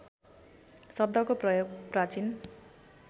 शब्दको प्रयोग प्राचीन